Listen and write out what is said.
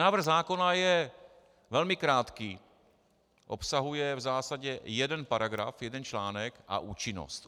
Návrh zákona je velmi krátký, obsahuje v zásadě jeden paragraf, jeden článek a účinnost.